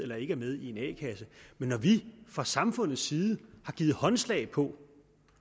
eller ikke er med i en a kasse men når vi fra samfundets side har givet håndslag på